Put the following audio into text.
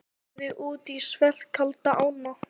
Lagði út í svellkalda ána